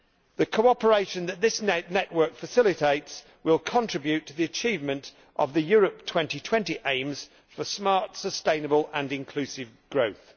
The cooperation that this network facilitates will contribute to the achievement of the Europe 2020 aims for smart, sustainable and inclusive growth.